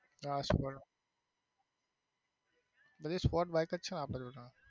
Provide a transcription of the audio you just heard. હા sports બધી sports bike જ છે ને આપડી જોડે.